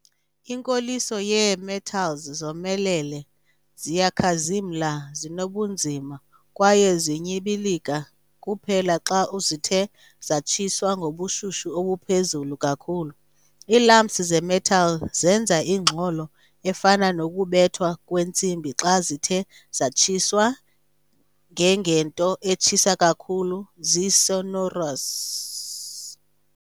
Inkoliso yee-metals zomelele, ziyakhazimla, zinobunzima kwaye zinyibilika kuphela xa zithe zatshiswa ngobushushu obuphezulu kakhulu. Ii-lumps ze-metal zenza ingxolo efana nokubethwa kwentsimbi xa zithe zatshiswa ngengento etshisa kakhulu zi-sonorous.